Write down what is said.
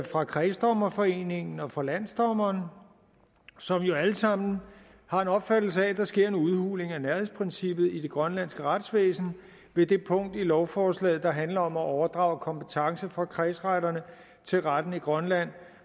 fra kredsdommerforeningen og fra landsdommeren som jo alle sammen har en opfattelse af at der sker en udhuling af nærhedsprincippet i det grønlandske retsvæsen ved det punkt i lovforslaget der handler om at overdrage kompetence fra kredsretterne til retten i grønland